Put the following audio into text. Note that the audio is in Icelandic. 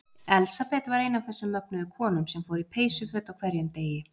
Elsabet var ein af þessum mögnuðu konum sem fór í peysuföt á hverjum degi.